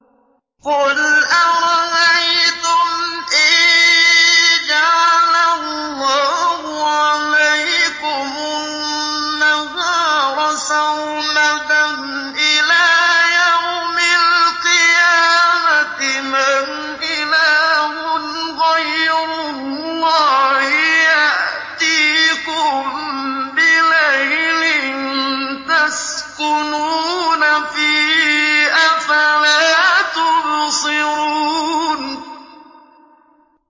قُلْ أَرَأَيْتُمْ إِن جَعَلَ اللَّهُ عَلَيْكُمُ النَّهَارَ سَرْمَدًا إِلَىٰ يَوْمِ الْقِيَامَةِ مَنْ إِلَٰهٌ غَيْرُ اللَّهِ يَأْتِيكُم بِلَيْلٍ تَسْكُنُونَ فِيهِ ۖ أَفَلَا تُبْصِرُونَ